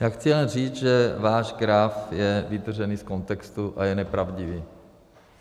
Já chci jen říct, že váš graf je vytržený z kontextu a je nepravdivý.